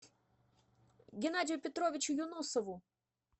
геннадию петровичу юнусову